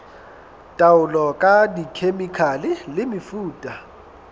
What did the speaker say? taolo ka dikhemikhale le mefuta